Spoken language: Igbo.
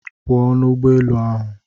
Pụọ n'ụgbọ elu ahụ!